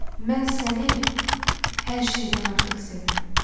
Mən səni hər şeydən artıq sevirəm.